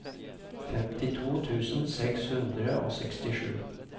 femtito tusen seks hundre og sekstisju